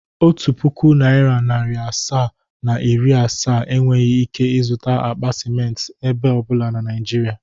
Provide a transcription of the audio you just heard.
Otu pụkụ naira narị asaa, na iri asaa enweghi ike izụta akpa simenti ebe ọbụla na Naịjịrịa.